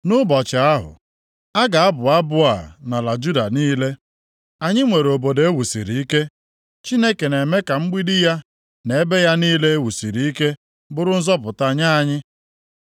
Nʼụbọchị ahụ, a ga-abụ abụ a nʼala Juda niile: Anyị nwere obodo e wusiri ike. Chineke na-eme ka mgbidi ya na ebe ya niile e wusiri ike bụrụ nzọpụta nye anyị.